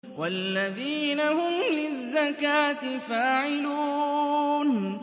وَالَّذِينَ هُمْ لِلزَّكَاةِ فَاعِلُونَ